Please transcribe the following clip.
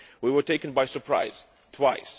We were taken by surprise twice.